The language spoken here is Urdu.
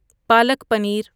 پالک پنیر